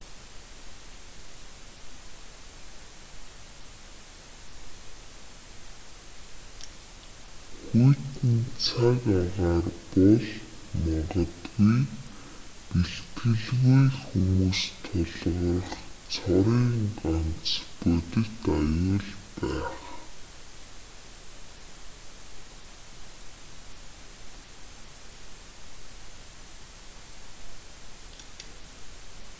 хүйтэн цаг агаар бол магадгүй бэлтгэлгүй хүмүүст тулгарах цорын ганц бодит аюул байх